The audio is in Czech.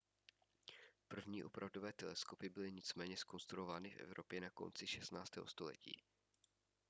první opravdové teleskopy byly nicméně zkonstruovány v evropě na konci 16. století